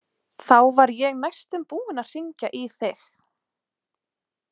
Þá var ég næstum búinn að hringja í þig.